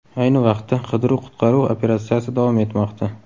Ayni vaqtda qidiruv-qutqaruv operatsiyasi davom etmoqda.